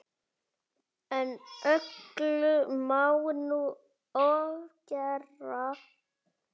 En öllu má nú ofgera.